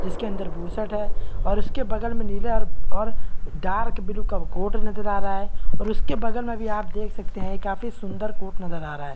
इस के अन्दर है और इस के बगल मे नीले और डार्क ब्लू कोट नजर आ रहा है और उसके बगल में भी आप देख सकते है काफी सुन्दर कोट नज़र आ रहा है।